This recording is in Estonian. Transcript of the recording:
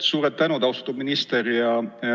Suur tänu, austatud minister!